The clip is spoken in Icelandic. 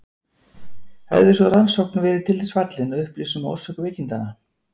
Hefði sú rannsókn verið til þess fallin að upplýsa um orsök veikindanna?